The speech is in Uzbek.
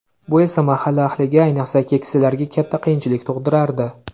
Bu esa mahalla ahliga, ayniqsa, keksalarga katta qiyinchilik tug‘dirardi.